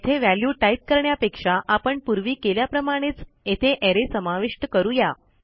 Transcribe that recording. येथे value type करण्यापेक्षा आपण पूर्वी केल्याप्रमाणेच येथे अरे समाविष्ट करू या